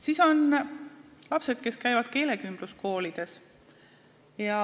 Siis on lapsed, kes käivad keelekümbluskoolis.